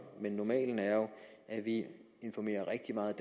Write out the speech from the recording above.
men normalen er jo at vi informerer rigtig meget